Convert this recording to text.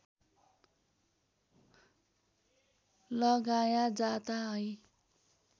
लगाया जाता है